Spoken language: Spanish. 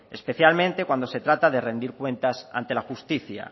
especialmente cuando se trata de rendir cuentas ante la justicia